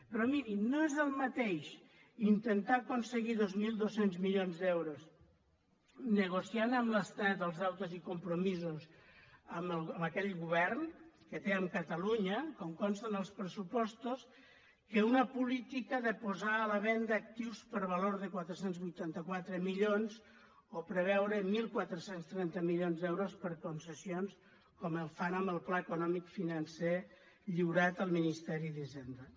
però mirin no és el mateix intentar aconseguir dos mil dos cents milions d’euros negociant amb l’estat els deutes i compromisos amb aquell govern que té amb catalunya com consta en els pressupostos que una política de posar a la venda actius per valor de quatre cents i vuitanta quatre milions o preveure catorze trenta milions d’euros per concessions com fan amb el pla econòmic financer lliurat al ministeri d’hisenda